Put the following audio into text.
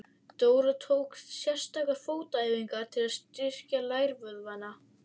Dóra tók sérstakar fótaæfingar til að styrkja lærvöðvana.